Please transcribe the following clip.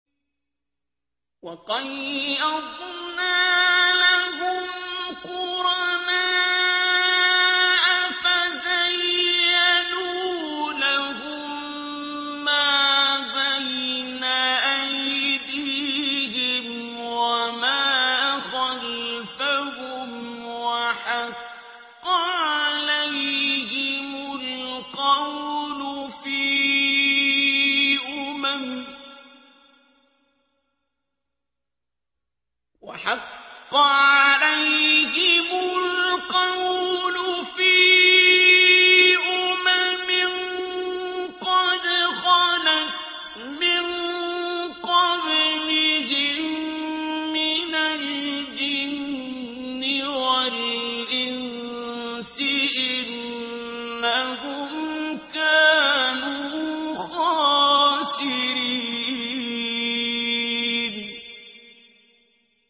۞ وَقَيَّضْنَا لَهُمْ قُرَنَاءَ فَزَيَّنُوا لَهُم مَّا بَيْنَ أَيْدِيهِمْ وَمَا خَلْفَهُمْ وَحَقَّ عَلَيْهِمُ الْقَوْلُ فِي أُمَمٍ قَدْ خَلَتْ مِن قَبْلِهِم مِّنَ الْجِنِّ وَالْإِنسِ ۖ إِنَّهُمْ كَانُوا خَاسِرِينَ